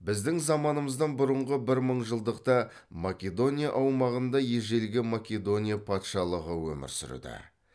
біздің заманымыздан бұрынғы бір мың жылдықта македония аумағында ежелгі македония патшалығы өмір сүрді